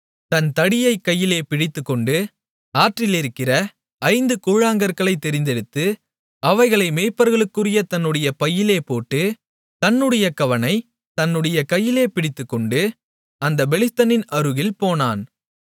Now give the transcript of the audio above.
தன் தடியைக் கையிலே பிடித்துக்கொண்டு ஆற்றிலிருக்கிற ஐந்து கூழாங்கற்களைத் தெரிந்தெடுத்து அவைகளை மேய்ப்பர்களுக்குரிய தன்னுடைய பையிலே போட்டு தன்னுடைய கவணைத் தன்னுடைய கையிலே பிடித்துக்கொண்டு அந்தப் பெலிஸ்தனின் அருகில் போனான்